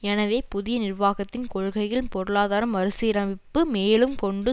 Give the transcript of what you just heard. எனவே புதிய நிர்வாகத்தின் கொள்கைகள் பொருளாதார மறு சீரமைப்பு மேலும் கொண்டு